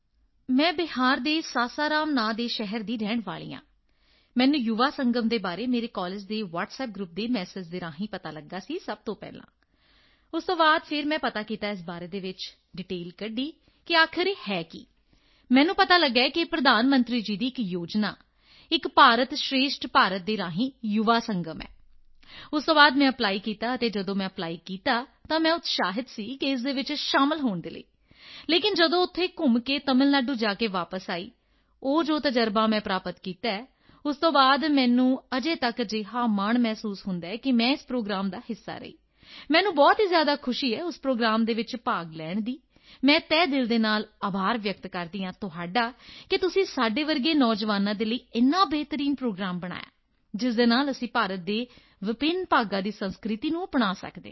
ਮੈਂ ਬਿਹਾਰ ਦੇ ਸਾਸਾਰਾਮ ਨਾਮ ਦੇ ਸ਼ਹਿਰ ਦੀ ਰਹਿਣ ਵਾਲੀ ਹਾਂ ਅਤੇ ਮੈਨੂੰ ਯੁਵਾ ਸੰਗਮ ਦੇ ਬਾਰੇ ਮੇਰੇ ਕਾਲਜ ਦੇ ਵਾਟਸਐਪ ਗਰੁੱਪ ਦੇ ਮੈਸੇਜ ਰਾਹੀਂ ਪਤਾ ਲਗਾ ਸੀ ਸਭ ਤੋਂ ਪਹਿਲਾਂ ਉਸ ਤੋਂ ਬਾਅਦ ਫਿਰ ਮੈਂ ਪਤਾ ਕੀਤਾ ਇਸ ਬਾਰੇ ਵਿੱਚ ਅਤੇ ਡੀਟੇਲ ਕੱਢੀ ਕਿ ਇਹ ਹੈ ਕੀ ਮੈਨੂੰ ਪਤਾ ਲੱਗਾ ਕਿ ਇਹ ਪ੍ਰਧਾਨ ਮੰਤਰੀ ਜੀ ਦੀ ਇੱਕ ਯੋਜਨਾ ਏਕ ਭਾਰਤ ਸ਼੍ਰੇਸ਼ਠ ਭਾਰਤ ਦੇ ਰਾਹੀਂ ਯੁਵਾ ਸੰਗਮ ਹੈ ਉਸ ਤੋਂ ਬਾਅਦ ਮੈਂ ਅਪਲਾਈ ਕੀਤਾ ਅਤੇ ਜਦੋਂ ਮੈਂ ਅਪਲਾਈ ਕੀਤਾ ਤਾਂ ਮੈਂ ਉਤਸ਼ਾਹਿਤ ਸੀ ਇਸ ਵਿੱਚ ਸ਼ਾਮਲ ਹੋਣ ਦੇ ਲਈ ਲੇਕਿਨ ਜਦੋਂ ਉੱਥੋਂ ਘੁੰਮ ਕੇ ਤਮਿਲ ਨਾਡੂ ਜਾ ਕੇ ਵਾਪਸ ਆਈ ਉਹ ਜੋ ਤਜ਼ਰਬਾ ਮੈਂ ਪ੍ਰਾਪਤ ਕੀਤਾ ਉਸ ਤੋਂ ਬਾਅਦ ਮੈਨੂੰ ਅਜੇ ਤੱਕ ਅਜਿਹਾ ਮਾਣ ਮਹਿਸੂਸ ਹੁੰਦਾ ਹੈ ਕਿ ਮੈਂ ਇਸ ਪ੍ਰੋਗਰਾਮ ਦਾ ਹਿੱਸਾ ਰਹੀ ਮੈਨੂੰ ਬਹੁਤ ਹੀ ਜ਼ਿਆਦਾ ਖੁਸ਼ੀ ਹੈ ਉਸ ਪ੍ਰੋਗਰਾਮ ਵਿੱਚ ਭਾਗ ਲੈਣ ਦੀ ਅਤੇ ਮੈਂ ਤਹਿ ਦਿਲ ਨਾਲ ਆਭਾਰ ਵਿਅਕਤ ਕਰਦੀ ਹਾਂ ਤੁਹਾਡਾ ਕਿ ਤੁਸੀਂ ਸਾਡੇ ਵਰਗੇ ਨੌਜਵਾਨਾਂ ਦੇ ਲਈ ਇੰਨਾ ਬਿਹਤਰੀਨ ਪ੍ਰੋਗਰਾਮ ਬਣਾਇਆ ਜਿਸ ਨਾਲ ਅਸੀਂ ਭਾਰਤ ਦੇ ਵਿਭਿੰਨ ਭਾਗਾਂ ਦੀ ਸੰਸਕ੍ਰਿਤੀ ਨੂੰ ਅਪਣਾ ਸਕਦੇ ਹਾਂ